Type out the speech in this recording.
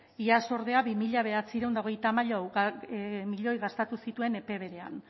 iaz ordea bi mila bederatziehun eta hogeita hamaika milioi gastatu zituen epe berean